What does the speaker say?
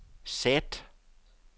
sæt